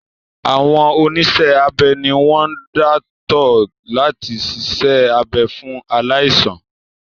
Àwọn oníṣẹ́-abẹ ni wọ́n dáńtọ́ láti siṣẹ́ abẹ fún aláìsàn.